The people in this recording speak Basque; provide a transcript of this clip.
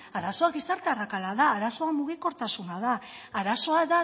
arazoa gizarte arrakala da arazoa mugikortasuna da arazoa